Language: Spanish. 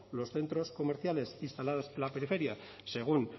los centros comerciales instalados en la periferia según